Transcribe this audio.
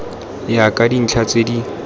ya ka dintlha tse di